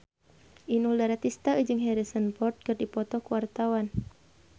Inul Daratista jeung Harrison Ford keur dipoto ku wartawan